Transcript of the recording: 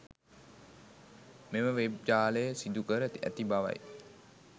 මෙම වෙබ් ජාලය සිදුකර ඇති බවයි.